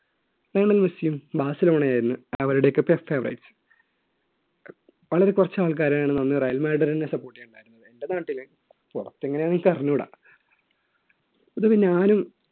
Lionel മെസ്സിയും ബാസിലോണയും ആയിരുന്നു അവരുടെയൊക്കെ വളരെ കുറച്ച് ആൾക്കാരായിരുന്നു അന്ന് റയൽ മെഡറിനെ support ചെയ്യാൻ ഉണ്ടായിരുന്നത് എൻറെ നാട്ടിലെ പുറത്തെങ്ങനെയാണെന്ന് എനിക്കറിഞ്ഞുകൂടാ പൊതുവേ ഞാനും